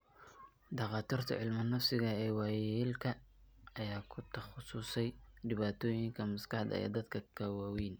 Dhakhaatiirta cilmi nafsiga ee waayeelka ayaa ku takhasusay dhibaatooyinka maskaxda ee dadka waaweyn.